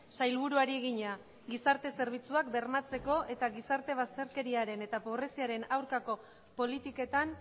sailburuari egina gizarte zerbitzuak bermatzeko eta gizarte bazterkeriaren eta pobreziaren aurkako politiketan